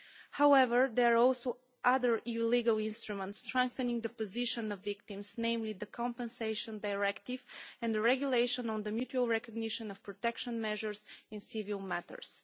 However, there are also other EU legal instruments that strengthen the position of victims, namely the Compensation Directive and the Regulation on mutual recognition of protection measures in civil matters.